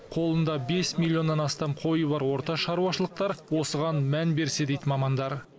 қолында бес миллионнан астам қойы бар орта шаруашылықтар осыған мән берсе дейді мамандар